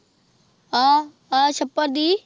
ਆਹ-ਆਹ ਛੱਪੜ ਦੀ।